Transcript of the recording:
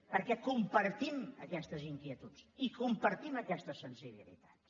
perquè compartim aquestes inquietuds i compartim aquestes sensibilitats